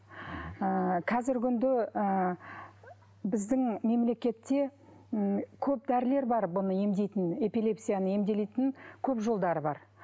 ыыы қазіргі күнде ы біздің мемлекетте м көп дәрілер бар бұны емдейтін эпилепсияны емделетін көп жолдары бар